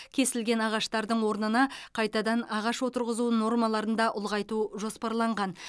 кесілген ағаштардың орнына қайтадан ағаш отырғызу нормаларын да ұлғайту жоспарланған